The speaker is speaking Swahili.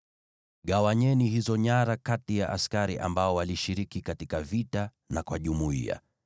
Gawanyeni hizo nyara kati ya askari ambao walishiriki katika vita na kwa jumuiya.